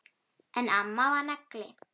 En amma var nagli.